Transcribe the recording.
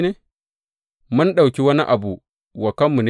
Mun ɗauki wani abu wa kanmu ne?